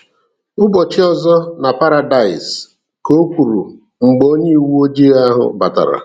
"Ụbọchị ọzọ na paradaịs," Ka o kwuru mgbe onye uwe ojii ahụ batara.